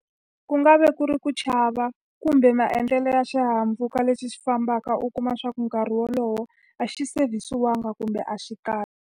Ku nga vi ku ri ku chava kumbe maendlelo ya xihahampfhuka lexi xi fambaka u kuma leswaku nkarhi wolowo, a xi savesiwanga kumbe a xi kahle.